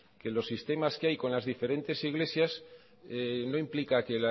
que los sistemas que hay con las diferentes iglesias no implica que